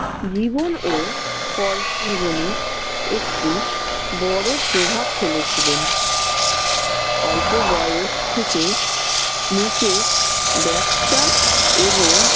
জীবন ও কর্ম জীবনে একটি বড় প্রভাব ফেলেছিলেন। অল্প বয়স থেকে মুকেশ ব্যবসা এবং